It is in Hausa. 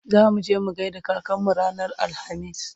zamuje mu gaida kakanmu ranar alhamis